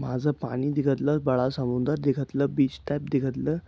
माझ पानी दिखतल बड़ा समुन्दर भी दिखतल बीच टाईप दिखतल.